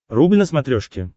рубль на смотрешке